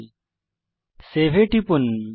এখন সেভ এ টিপুন